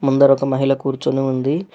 ముందర ఒక మహిళ కూర్చుని ఉంది.